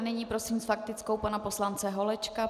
A nyní prosím s faktickou pana poslance Holečka.